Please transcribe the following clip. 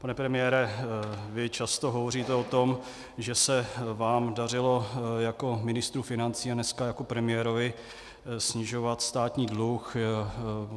Pane premiére, vy často hovoříte o tom, že se vám dařilo jako ministru financí a dneska jako premiérovi snižovat státní dluh.